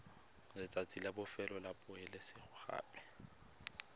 letsatsi la bofelo la poeletsogape